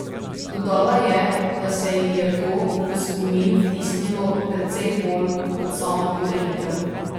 Dodala je, da se ji je to v spomin vtisnilo precej bolj kot sama podelitev.